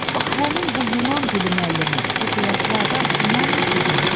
Bax həmin bu Yunan dili müəllimi, bu qılaflı adam, inanmırsınızmı?